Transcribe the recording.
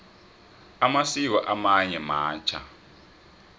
amasiko amanye matjha